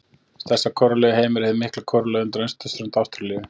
Stærsta kórallarif í heimi er hið mikla kóralrif undan austurströnd Ástralíu.